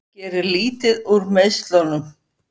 Gerir lítið úr meiðslunum